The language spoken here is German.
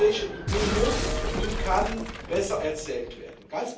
Die europäische Idee muss und kann besser erzählt werden.